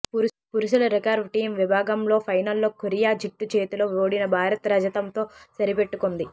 పురుషుల recurve team విభా గంలో ఫైనల్లో కొరియా జట్టు చేతిలో ఓడిన భారత్ రజతంతో సరిపెట్టుకుంది